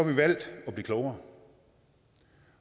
vi valgt at blive klogere